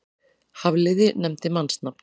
Hafliði nefndi mannsnafn.